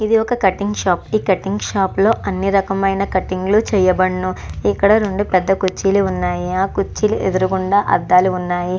ఇది ఒక cutting shop cutting shop లో అన్ని రకమైన కటింగులు చేయబడును. ఇక్కడ రెండు పెద్ద కుర్చీలు ఉన్నాయి. ఆ కుర్చీలు ఎదురకుండా అద్దాలు ఉన్నాయి.